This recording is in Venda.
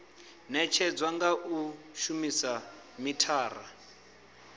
netshedzwa nga u shumisa mithara